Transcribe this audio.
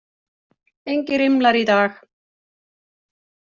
Engir rimlar í dag.